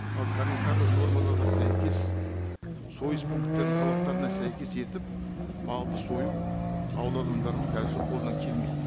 ал санитарлық нормаларға сәйкес сойыс пункттерінің талаптарына сәйкес етіп малды сою ауыл адамдарының қазірше қолынан келмейді